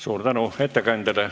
Suur tänu ettekandjale!